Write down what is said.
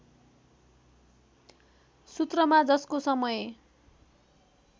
सूत्रमा जसको समय